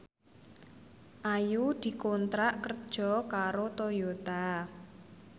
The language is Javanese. Ayu dikontrak kerja karo Toyota